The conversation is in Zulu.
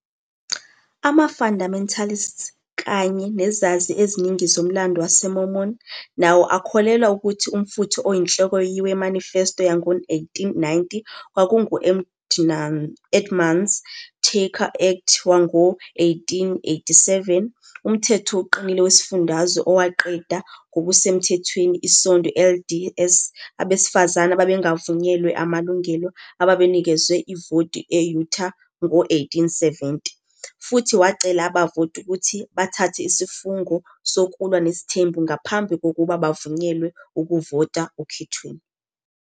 Ama-Fundamentalists, kanye nezazi eziningi zomlando wamaMormon, nawo akholelwa ukuthi umfutho oyinhloko we-Manifesto yango-1890 kwakungu- Edmunds - Tucker Act wango-1887, umthetho oqinile wesifundazwe owaqeda ngokusemthethweni iSonto LDS, abesifazane ababengavunyelwe amalungelo, ababenikezwe ivoti e-Utah ngo-1870, futhi wacela abavoti ukuthi bathathe isifungo sokulwa nesithembu ngaphambi kokuba bavunyelwe ukuvota okhethweni.